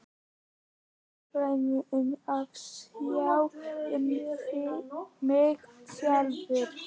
Fullfær um að sjá um mig sjálf.